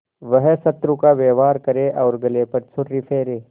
वह शत्रु का व्यवहार करे और गले पर छुरी फेरे